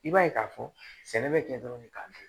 I b'a ye k'a fɔ sɛnɛ bɛ kɛ dɔrɔn k'a kɛ